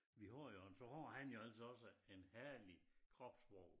Vi har jo altså så har han jo altså også en herlig kropssprog